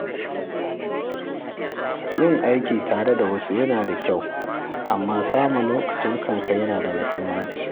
Yin aiki tare da wasu yana da kyau, amma samun lokacin kanka yana da muhimmanci.